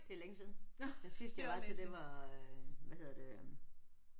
Det er længe siden. Den sidste jeg var til det var øh hvad hedder det øh